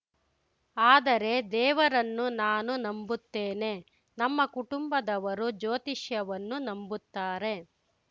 ಆದರೆ ದೇವರನ್ನು ನಾನು ನಂಬುತ್ತೇನೆ ನಮ್ಮ ಕುಟುಂಬದವರು ಜ್ಯೋತಿಷ್ಯವನ್ನು ನಂಬುತ್ತಾರೆ